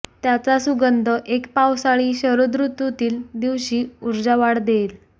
त्याचा सुगंध एक पावसाळी शरद ऋतूतील दिवशी ऊर्जा वाढ देईल